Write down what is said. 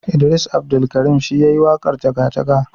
Idris Abdulkarim shi yayi waƙarJaga jaga.